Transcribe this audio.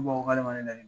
Ko k'ale ma